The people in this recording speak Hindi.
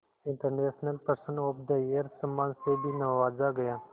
international person of the year सम्मान से भी नवाजा गया